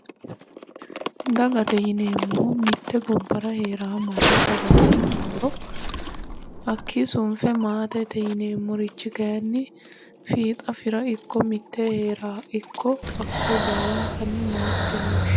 Dagate yineemmohu mitte gobbara heerawo manna dagate yinummoro hakkii sunfe maatete yineemmorichi kayinni fiixa fira ikko mittee heerawoha ikko hakkoye baalankanni maatete yine woshinanni